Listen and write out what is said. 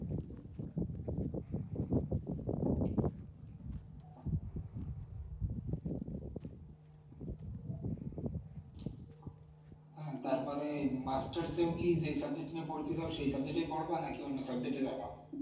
হ্যাঁ তারপরে masters এও কী যেই subject নিয়ে পড়িতে চাও সেই subject এ পড়বা নাকি অন্য subject এ যাবা?